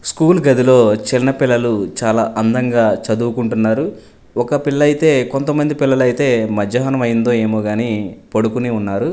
School గదిలో చిన్న పిల్లలు చాలా అందంగా చదువుకుంటున్నారు ఒక పిల్లైతే కొంతమంది పిల్లలైతే మధ్యాహ్నం అయిందో ఏమో గాని పడుకుని ఉన్నారు.